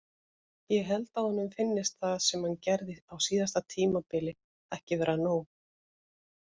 Ég held að honum finnist það sem hann gerði á síðasta tímabili ekki vera nóg.